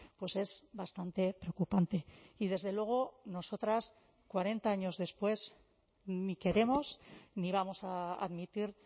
pues es bastante preocupante y desde luego nosotras cuarenta años después ni queremos ni vamos a admitir